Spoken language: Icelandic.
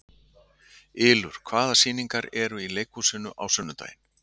Ylur, hvaða sýningar eru í leikhúsinu á sunnudaginn?